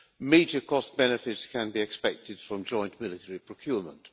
Major cost benefits can be expected from joint military procurement.